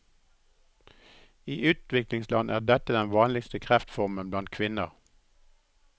I utviklingsland er dette den vanligste kreftformen blant kvinner.